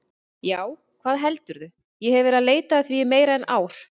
Já, hvað heldurðu, ég hef verið að leita að því í meira en ár.